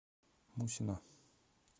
мусина